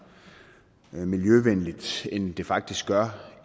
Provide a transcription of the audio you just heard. miljøvenligt end det faktisk gør